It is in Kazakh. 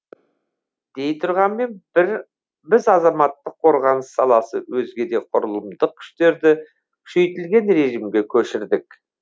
дей тұрғанмен біз азаматтық қорғаныс саласы өзге де құрылымдық күштерді күшейтілген режимге көшірдік